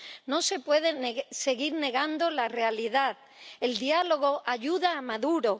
No se puede seguir negando la realidad. El diálogo ayuda a Maduro.